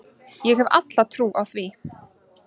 Ég hef alla trú á því.